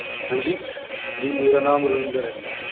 ਹਾਂਜੀ ਜੀ ਮੇਰਾ ਨਾਮ ਰਵਿੰਦਰ ਐ ਜੀ।